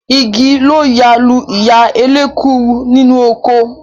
Igi ló ya lu ìyá elékuru nínú oko